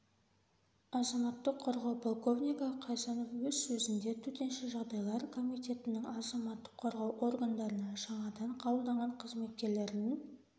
азаматтық қорғау полковнигі қайсанов өз сөзінде төтенше жағдайлар комитетінің азаматтық қорғау органдарына жаңадан қабылданған қызметкерлердің